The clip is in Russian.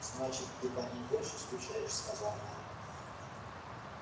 значит ты по ней больше скучаешь сказал найд